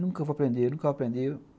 Nunca vou aprender, nunca vou aprender.